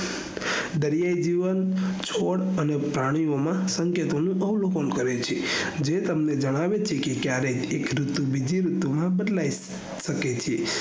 દરિયાયી જીવન સ્કોડ અને પ્રાણીઓ માં સંકેતો નું અવલોકન કરે છે જે તમને જણાવે છે કે કયારેક એક ઋતુ બીજી ઋતુ માં બદલાય સકે છે